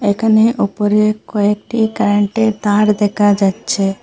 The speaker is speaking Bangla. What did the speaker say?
এখানে ওপরে কয়েকটি কারেন্ট -এর তার দেখা যাচ্ছে।